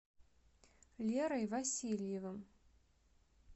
лерой васильевым